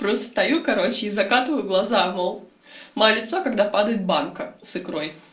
просто стою короче и закатываю глаза мол моё лицо когда падает банка с икрой